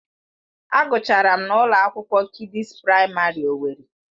Agụchara m na ụlọ akwụkwọ Kidịs Praịmarị owerri.